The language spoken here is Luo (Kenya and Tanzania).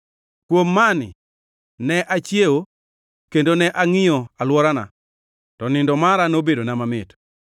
Kuom mani ne achiewo kendo ne angʼiyo alworana. To nindo mara nobedona mamit.